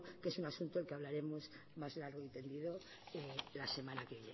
que es asunto del que hablaremos más largo y tendido la semana que